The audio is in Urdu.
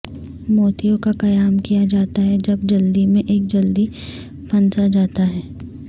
موتیوں کا قیام کیا جاتا ہے جب جلدی میں ایک جلدی پھنسا جاتا ہے